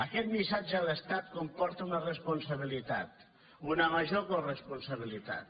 aquest missatge a l’estat comporta una responsabilitat una major coresponsabilitat